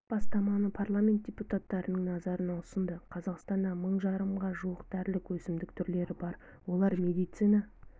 бастаманы парламент депутаттарының назарына ұсынды қазақстанда мың жарымға жуық дәрілік өсімдік түрлері бар олар медицина